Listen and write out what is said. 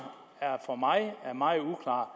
for mig er meget uklart